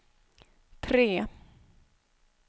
tre